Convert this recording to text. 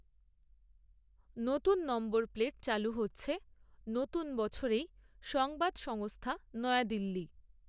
নতুন number plate চালু হচ্ছে, নতুন বছরেই, সংবাদসংস্থা, নয়াদিল্লি